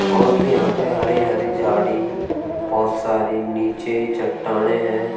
और यहां पे हरी-हरी झाड़ी बहोत सारी नीचे चट्टानें हैं।